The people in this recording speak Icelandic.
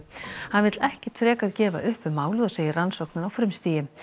hann vill ekkert frekar gefa upp um málið og segir rannsóknina á frumstigi